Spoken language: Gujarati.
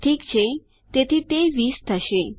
ઠીક છે તેથી તે 20 થશે